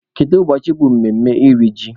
Kedu ụbọchị bụ mmemme iri ji?